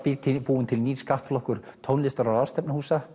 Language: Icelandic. búinn til nýr skattflokkur tónlistar og